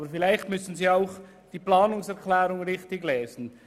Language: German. Aber vielleicht müssen Sie auch die Planungserklärung richtig lesen.